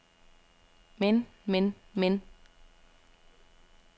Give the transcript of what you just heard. men men men